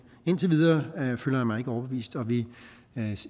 indtil videre føler jeg mig ikke overbevist og vi